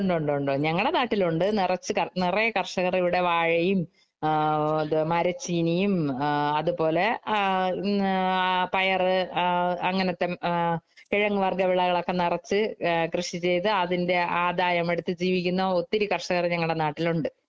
ഉണ്ടുണ്ട് ഉണ്ട് ഞങ്ങടെ നാട്ടില്‍ ഉണ്ട്. നെറച്ച് നെറയെ കര്‍ഷകര് ഇവിടെ വാഴയും മരച്ചീനിയും ആ അതുപോലെ ആ പയറ്, ആ അങ്ങനത്തെ കെഴങ്ങുവര്‍ഗ്ഗ വിളകളൊക്കെ നെറച്ച് കൃഷി ചെയ്തു അതിന്‍റെ ആദായം എടുത്തു ജീവിക്കുന്ന ഒത്തിരി കര്‍ഷകര്‍ ഞങ്ങളുടെ നാട്ടില്‍ ഉണ്ട്.